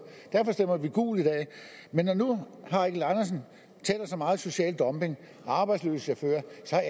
derfor stemmer vi gult i dag men når nu herre eigil andersen taler så meget om social dumping og arbejdsløse chauffører